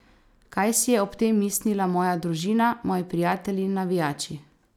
Kaj si je ob tem mislila moja družina, moji prijatelji, navijači?